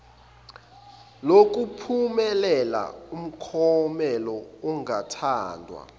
lokuphumelela umklomelo ongathandwa